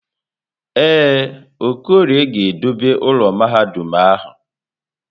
Ee, Okorie ga-edobe ụlọ mahadum ahụ.